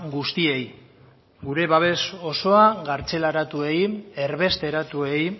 guztiei gure babes osoa kartzelaratuei erbesteratuei